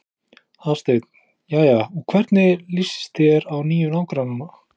Hafsteinn: Jæja, og hvernig líst þér á nýju nágrannana?